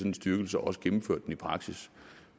en styrkelse og også gennemført den i praksis